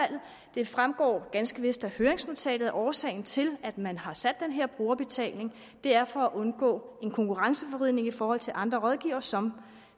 det fremgår ganske vist af høringsnotatet at årsagen til at man har sat den her brugerbetaling er for at undgå en konkurrenceforvridning i forhold til andre rådgivere som